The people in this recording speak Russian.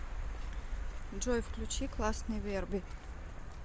джой включи классный верби